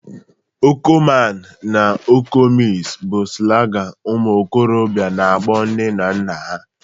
Oko man na oko miss bu slangi ụmuokorobia na-akpọ nne na nna ha